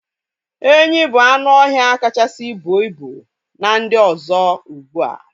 Enyi bu anụ ọhịa kachasị buo ibu n'ndi ọzọ ugbua